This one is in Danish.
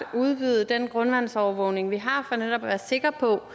kunne udvide den grundvandsovervågning vi har for netop at være sikre på